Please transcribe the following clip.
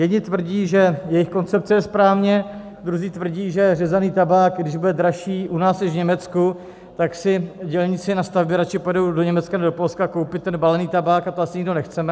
Jedni tvrdí, že jejich koncepce je správně, druzí tvrdí, že řezaný tabák, když bude dražší u nás než v Německu, tak si dělníci na stavbě radši pojedou do Německa nebo do Polska koupit ten balený tabák, a to asi nikdo nechceme.